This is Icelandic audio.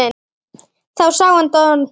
Þá sá hann Don